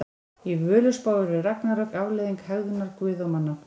Í Völuspá eru ragnarök afleiðing hegðunar guða og manna.